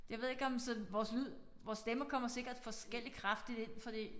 Jeg ved ikke om sådan vores lyd vores stemmer kommer sikkert forskelligt kraftigt ind fordi